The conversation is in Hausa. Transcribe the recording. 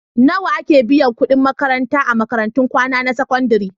Nawa ake biyan kuɗin makarantar a makarantun kwana na sakandare?